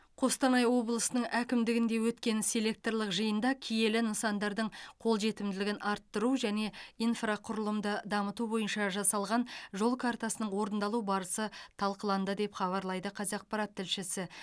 қостанай облысының әкімдігінде өткен селекторлық жиында киелі нысандардың қолжетімділігін арттыру және инфрақұрылымды дамыту бойынша жасалған жол картасының орындалу барысы талқыланды деп хабарлайды қазақпарат тілшісі